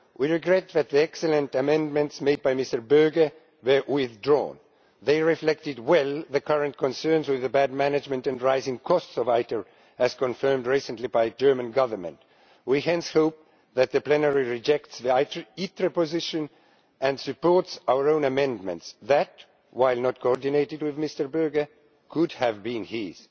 We regret that the excellent amendments made by Mr Berger were withdrawn. They reflected well the current concerns with the bad management and rising costs of ITER, as confirmed recently by the German Government. We hence hope that the plenary rejects the ITER position and supports our own amendments which, while not coordinated with Mr Berger, could have been his.